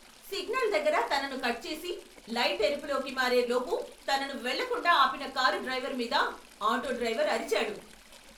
Signal దగ్గర తనను cut చేసి, లైట్ ఎరుపులోకి మారే లోపు తనను వెళ్లకుండా ఆపిన కారు డ్రైవర్ మీద ఆటో డ్రైవర్ అరిచాడు.